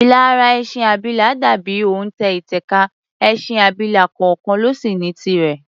Ilà ara ẹṣin abilà dà bí òntẹ̀ ìtẹ̀ka, ẹṣin abilà kọọkàn ló sì ní tirẹ̀.